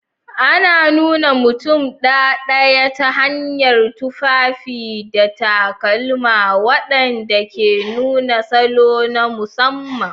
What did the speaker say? Ana nuna mutum ɗaɗaya ta hanyar tufafi da takalma waɗanda ke nuna salo na musamman.